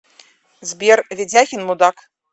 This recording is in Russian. сбер ведяхин мудак